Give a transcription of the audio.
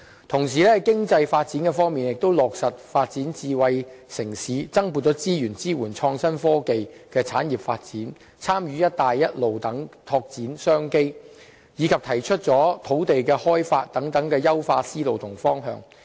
同時，在經濟發展方面亦落實發展智慧城市、增撥資源支援創新科技的產業發展、參與"一帶一路"等拓展商機，以及提出土地的開發等優化思路和方向。